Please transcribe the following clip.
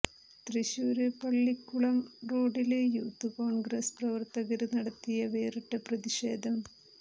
തൃശൂര് പള്ളിക്കുളം റോഡില്് യൂത്ത് കോണ്ഗ്രസ് പ്രവര്ത്തകര് നടത്തിയ വേറിട്ട പ്രതിഷേധം